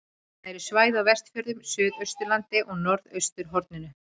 Það eru svæði á Vestfjörðum, Suðausturlandi og á norðausturhorninu.